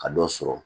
Ka dɔ sɔrɔ